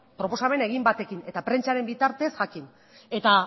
proposamen egin batekin eta prentsaren bitartez jakin eta